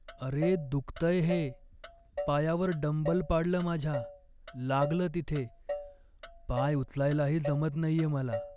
अरे! दुखतंय हे. पायावर डंबल पाडलं माझ्या, लागलं तिथे. पाय उचलायलाही जमत नाहीये मला.